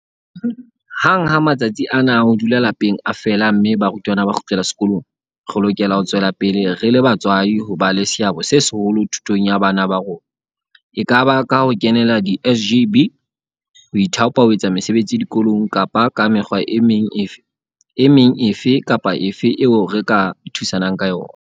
Hang ha matsatsi ana a ho dula lapeng a fela mme barutwana ba kgutlela sekolong, re lokela ho tswela pele re le batswadi ho ba le seabo se seholo thutong ya bana ba rona, ekaba ka ho kenela di-SGB, ho ithaopa ho etsa mesebetsi dikolong kapa ka mekgwa e meng efe kapa efe eo re ka thusang ka yona.